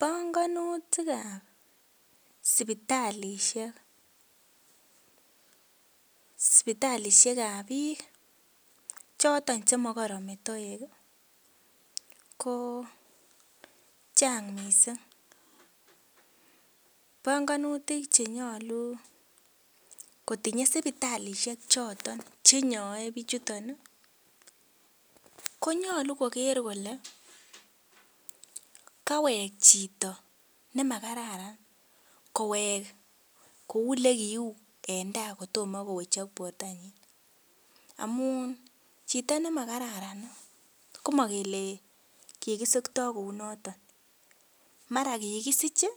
Bongunutik ab sipitalisiek, sipitalisiek ab biik choton chemokoron metoek ih ko chang missing, bongunutik chenyolu kotinye sipitalisiek choton chenyoe bichuton ih konyolu koker kole kaweek chito nemakararan kowek kou elekiuu en taa kotomo kowechok bortonyin amun chito nemakararan ih komokele kikisiktoo kou noton mara kikisich ih